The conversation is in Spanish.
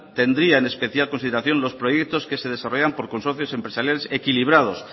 tendría en especial consideración los proyectos que se desarrollan por consorcios empresariales equilibrados